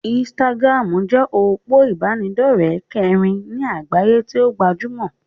Instagram jẹ́ òpó ìbánidọ́rẹ̀ kẹrin ní àgbáyé tí o gbajúmọ̀.